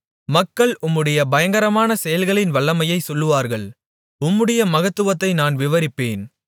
மக்கள் உம்முடைய பயங்கரமான செயல்களின் வல்லமையைச் சொல்லுவார்கள் உம்முடைய மகத்துவத்தை நான் விவரிப்பேன்